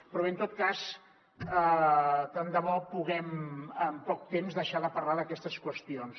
però bé en tot cas tant de bo puguem en poc temps deixar de parlar d’aquestes qüestions